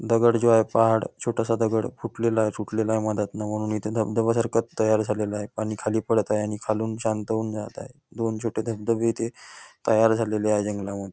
दगड जो आहे पहाड छोटासा दगड फुटलेला आहे तुटलेला आहे मध्यातनं म्हणून इथे धबधब्यासारखं तयार झालेलं आहे पाणी खाली पडत आहे आणि खालून शांत होऊन जात आहे दोन छोटे छोटे धबधबे इथे तयार झालेले आहेत जंगलामध्ये.